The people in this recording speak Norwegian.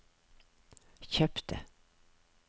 kjøpte